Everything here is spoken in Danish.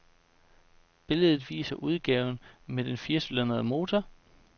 Billedet viser udgaven med den firecylindrede motor.